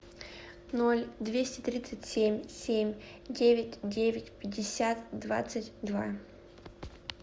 ноль двести тридцать семь семь девять девять пятьдесят двадцать два